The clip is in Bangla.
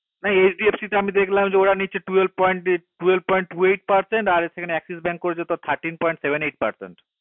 না HDFC তে আমি দেখলাম যে ওরা নিচ্ছে twelve point two eight percent আর সেখানে axis bank করেছে thirteen point seven percent